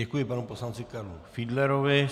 Děkuji panu poslanci Karlu Fiedlerovi.